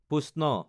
পুষ্ণ